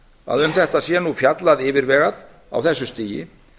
að um þetta sé nú fjallað yfirvegað á þessu stigi